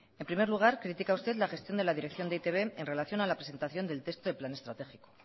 en primer lugar critica usted la gestión de e i te be en relación a la presentación del texto de plan estratégico